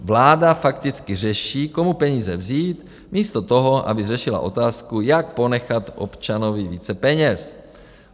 Vláda fakticky řeší, komu peníze vzít, místo toho, aby řešila otázku, jak ponechat občanovi více peněz.